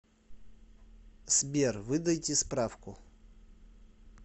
сбер выдайте справку